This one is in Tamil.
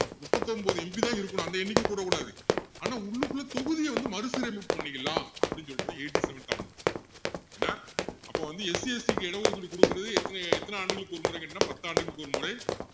முப்பத்தொன்பது MP தான் இருக்கணும் அந்த எண்ணிக்கை கூடக்கூடாது ஆனா உள்ளுக்குள்ள தொகுதியை வந்து மறுசீரமைப்பு பண்ணிக்கலாம் அப்படி சொல்றதுதான் eighty-seventh amendment என்ன அப்போ வந்து SCST க்கு இடம் ஒதுக்கீடு குடுக்கிறது எத்த~எத்தனை ஆண்டுகளுக்கு ஒரு முறைன்னு கேட்டீங்கன்னா பத்து ஆண்டுகளுக்கு ஒருமுறை